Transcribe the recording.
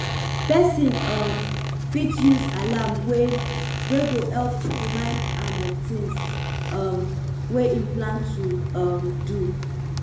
person um fit use alarm wey wey go help remind am of things um wey im plan to um do